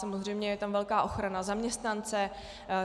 Samozřejmě je tam velká ochrana zaměstnance.